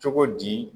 Cogo di